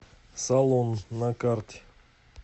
салон на карте